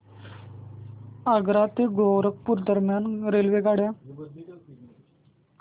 आग्रा ते गोरखपुर दरम्यान रेल्वेगाड्या